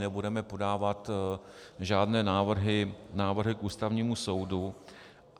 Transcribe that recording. Nebudeme podávat žádné návrhy k Ústavnímu soudu.